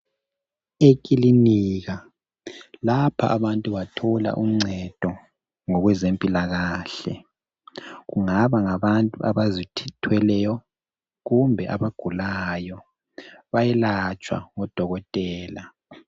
Ekilinika, lapha abantu bathola uncedo ngokwezempilakahle. Kungaba ngabantu abazithw thweleyo kumbe abagulayo, bayelatshwa ngodokotela.